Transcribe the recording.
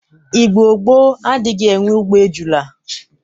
Igbo gboo adrighi enwe ugbo ejụla.